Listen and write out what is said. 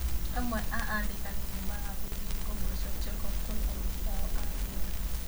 Amwe a andĩkani nĩ magathagĩrĩria ngombo cia check-off kũrĩ aruti ao a wĩra.